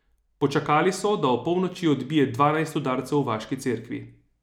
Počakali so, da opolnoči odbije dvanajst udarcev v vaški cerkvi.